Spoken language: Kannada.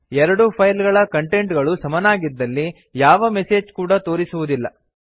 ಎರಡು ಫೈಲ್ ಗಳ ಕಂಟೆಂಟ್ ಗಳಿ ಸಮನಾಗಿದ್ದಲ್ಲಿ ಯಾವ ಮೆಸೆಜ್ ಕೂಡಾ ತೋರಿಸುವುದಿಲ್ಲ